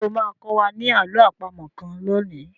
Ṣé o máa kọ́ wa ní àló àpamọ̀ kan lónìí?